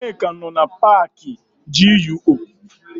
Nneka nọ na paakị GUO.